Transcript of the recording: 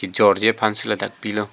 kejor ji aphan si dak kibi lo.